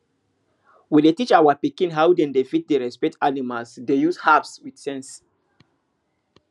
we dey teach our pikin how dem dem fit dey respect animal dey use herbs with sense